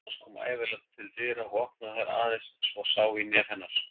Kona hans kom ævinlega til dyra og opnaði þær aðeins svo sá í nef hennar.